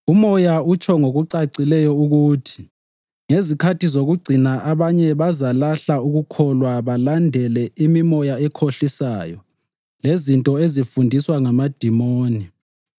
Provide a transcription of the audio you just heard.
Umoya utsho ngokucacileyo ukuthi ngezikhathi zokucina abanye bazalahla ukukholwa balandele imimoya ekhohlisayo lezinto ezifundiswa ngamadimoni.